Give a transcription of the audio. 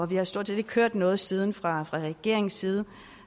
vi har stort set ikke hørt noget siden fra regeringens side